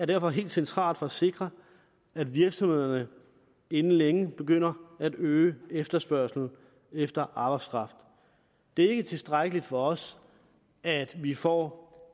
derfor helt centralt for at sikre at virksomhederne inden længe begynder at øge efterspørgslen efter arbejdskraft det er ikke tilstrækkeligt for os at vi får